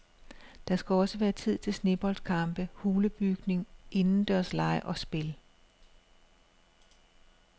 Der skal også være tid til sneboldkampe, hulebygning, indendørslege og spil.